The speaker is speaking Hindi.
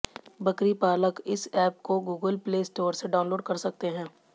बकरी पालक इस ऐप को गूगल प्ले स्टोर से डाउनलोड कर सकते हैं